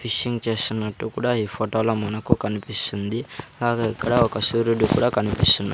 fishing చేస్తున్నట్టు కూడా ఈ ఫోటో లో మనకు కన్పిస్తుంది అలాగే ఇక్కడ ఒక సూర్యుడు కూడా కనిపిస్తున్న--